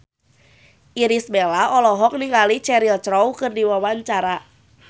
Irish Bella olohok ningali Cheryl Crow keur diwawancara